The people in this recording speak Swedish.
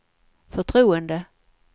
förtroende